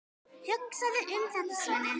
Hugsaðu um þetta, Svenni!